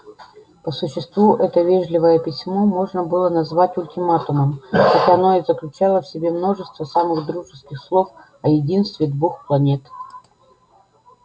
по существу это вежливое письмо можно было назвать ультиматумом хотя оно и заключало в себе множество самых дружеских слов о единстве двух планет